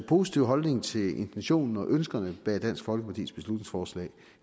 positiv holdning til intentionen og ønskerne bag dansk folkepartis beslutningsforslag